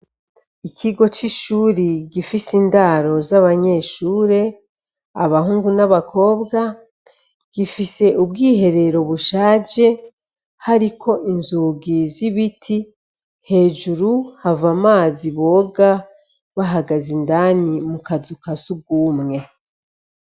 Ikigo c'ishuri gifise indaro z'abanyeshure abahungu n'abakobwa gifise ubwiherero bushaje hariko inzugi z ibiti hejuru hava amazi boga bahagaze indani mu kazu ka sugumwe.